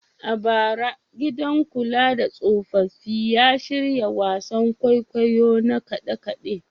A bara, gidan kula da tsofaffi ya shirya wasan kwaikwayo na kade-kade.